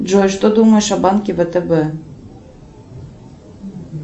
джой что думаешь о банке втб